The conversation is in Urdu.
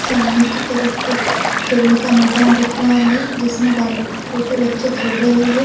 سامنے کی طرف ایک کھیلنے کا میدان دیکھ رہا ہے۔ جسمے بال چھوٹے بچھے کھل رہے ہے۔